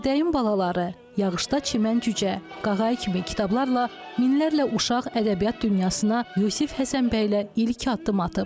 Ördəyin balaları, Yağışda Çimən cücə, Qağayı kimi kitablarla minlərlə uşaq ədəbiyyat dünyasına Yusif Həsənbəylə ilk addım atıb.